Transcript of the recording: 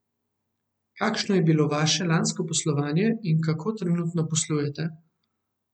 Kakšno je bilo vaše lansko poslovanje in kako trenutno poslujete?